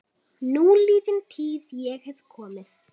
Núliðin tíð- ég hef komið